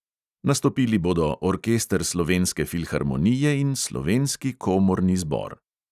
Nastopili bodo orkester slovenske filharmonije in slovenski komorni zbor.